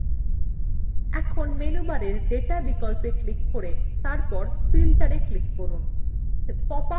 এখন menubar data বিকল্পে click করে তারপরে filterএ click করুন